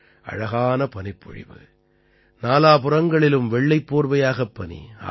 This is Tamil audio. அழகான பனிப்பொழிவு நாலாபுறங்களிலும் வெள்ளைப் போர்வையாகப் பனி ஆஹா